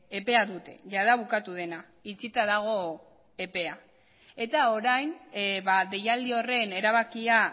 epea dute jada bukatu dena itxita dago epea eta orain deialdi horren erabakia